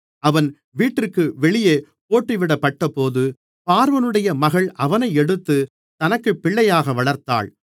அவன் வீட்டிற்கு வெளியே போட்டுவிடப்பட்டபோது பார்வோனுடைய மகள் அவனை எடுத்துத் தனக்குப் பிள்ளையாக வளர்த்தாள்